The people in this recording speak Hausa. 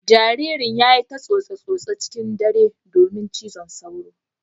Jaririn ya yi ta tsose-tsose cikin dare domin cizon sauro.